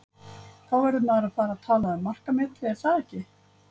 Þá verður maður að fara að tala um markametið, er það ekki?